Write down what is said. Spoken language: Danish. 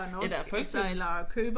Ja der er **UF**